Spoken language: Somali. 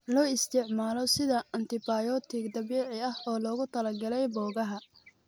Loo isticmaalo sida antibiyootig dabiici ah oo loogu talagalay boogaha.